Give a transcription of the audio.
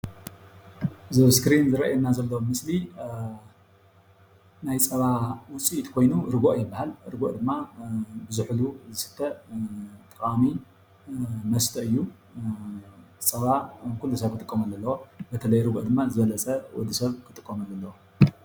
እዚ ኣብ እስክሪን ዝረአየና ዘሎ ምስሊ ናይ ፀባ ውፅኢት ኮይኑ ርጉኦ ይባሃል፡፡ ርጎኦ ድማ ብዙሑሉ ዝስተ ጠቃሚ መስተ እዩ፡፡ ፀባ ኩሉ ሰብ ክጥቀመሉ ኣለዎ፡፡ ብተለይ ርጎኦ ድማኒ ዝበለፀ ወዲ ሰብ ክጥቀመሉ ኣለዎ፡፡